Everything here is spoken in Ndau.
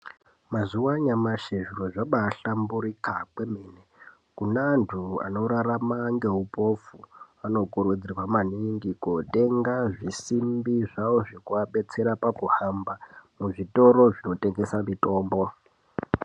Mazuwa anyamashi zviro zvabaahalamburika kwemene. Kune antu anorarama ngeupofu anokurudzirwa maningi kootenga zvisimbi zvawo zvekuadetsera pakuhamba muzvitoro zvinotengesa mitombo.